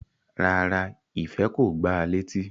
Rárá, Ife ko gbá a leti